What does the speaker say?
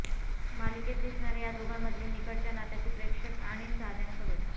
मालिकेत दिसणाऱ्या या दोघांमधील निकटच्या नात्याची प्रेक्षक आणि चाहत्यांकडून